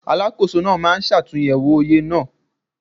Alákóso náà máa ṣàtúnyẹ̀wò oye náà.